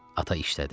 Ata işlədi.